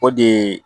O de ye